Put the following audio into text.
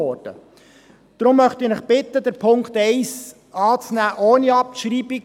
Deshalb bitte ich Sie, den Punkt 1 anzunehmen und nicht abzuschreiben.